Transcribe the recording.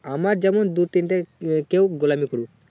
আমার যেমন দু তিনটে লোকে গোলামী করুক